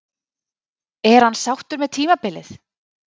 Er hann sáttur með tímabilið?